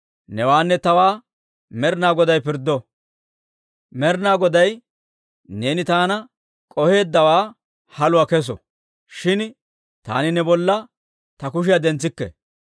Newaanne tawaa Med'inaa Goday pirddo; Med'inaa Goday neeni taana k'oheeddawaa haluwaa kesso; shin taani ne bolla ta kushiyaa dentsikke.